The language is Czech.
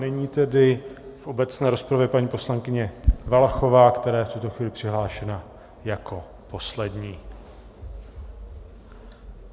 Nyní tedy v obecné rozpravě paní poslankyně Valachová, která je v tuto chvíli přihlášena jako poslední.